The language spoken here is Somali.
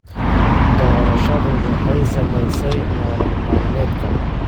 Doorashadu waxay saamaysay nolol maalmeedka.